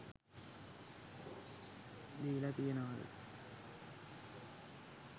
දීල තියෙනවද?